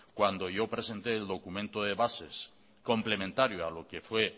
cuando yo presenté el documento de bases complementario a lo que fue